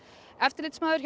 eftirlitsmaður